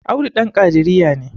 Audu Dan kadiriya ne